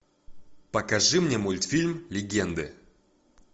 покажи мне мультфильм легенды